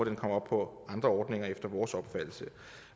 herop på andre ordninger efter vores opfattelse